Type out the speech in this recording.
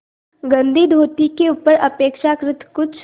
गंदी धोती के ऊपर अपेक्षाकृत कुछ